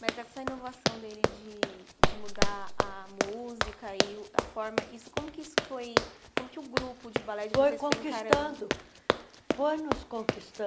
Mas essa inovação dele de de mudar a música e a forma, como que isso foi como que o grupo de balé de vocês... Foi conquistando, foi nos conquistando.